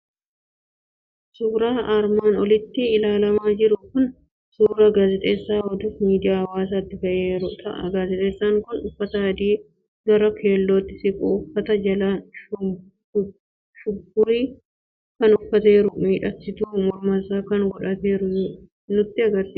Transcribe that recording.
Auuraan armaan oliitti ilaalamaa jiru kun auuraa gaazexeessaa oduuf miidiyaa hawaasaatti ba'eeru ta'a. Gaazexeessaan kun uffata adii gara keelootti siqu, uffata jalaa shumburii kan uffateeru, miidhagsituu mormaas kan godhateeru nutti argisiisa.